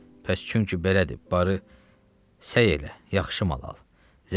Pəs çünki belədir, barı, səy elə, yaxşı mal al.